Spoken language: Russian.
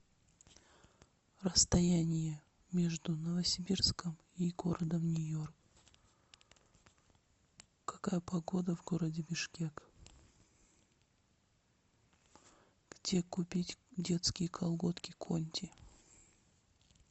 расстояние между новосибирском и городом нью йорк какая погода в городе бишкек где купить детские колготки конти